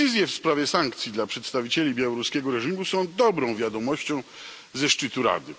Decyzje w sprawie sankcji dla przedstawicieli białoruskiego reżimu są dobrą wiadomością ze szczytu Rady.